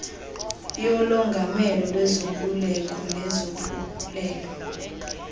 yolongamelo lwezoluleko nesophulelo